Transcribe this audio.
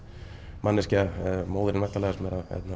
manneskja móðirin væntanlega sem